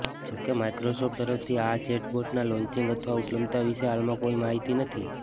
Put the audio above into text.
જો કે માઇક્રોસોફ્ટ તરફથી આ ચેટબોટનાં લોન્ચિંગ અથવા ઉપલબ્ધતા વિશે હાલમાં કોઈ માહિતી નથી